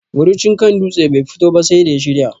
Murucin kan dutse bai fito ba sai da ya shirya